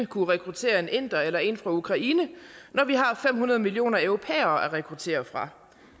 kunne rekruttere en inder eller en fra ukraine når vi har fem hundrede millioner europæere at rekruttere fra